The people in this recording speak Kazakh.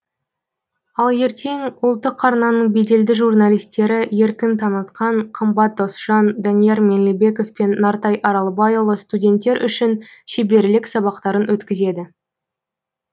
ал ертең ұлттық арнаның беделді журналистері еркін таңатқан қымбат досжан данияр меңлібеков пен нартай аралбайұлы студенттер үшін шеберлік сабақтарын өткізеді